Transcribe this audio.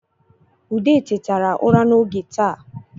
Ude tetere ụra n’oge taa